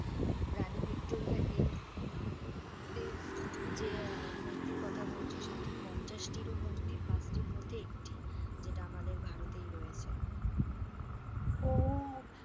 রানী ভিক্টোরিয়ার এই মুহূতের যে আহ মূর্তির কথা বলছো, সেটি পঞ্চাশটি মূর্তির পাঁচটির মধ্যে একটি, যেটা আমাদের ভারতেই রয়েছে, ও,